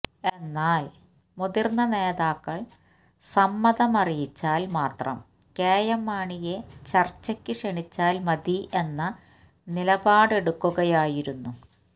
എന്നാല് മുതിര്ന്ന നേതാക്കള് സമ്മതമറിയിച്ചാല് മാത്രം കെ എം മാണിയെ ചര്ച്ചക്ക് ക്ഷണിച്ചാല് മതി എന്ന നിലപാടെടുക്കുകയായിരുന്നു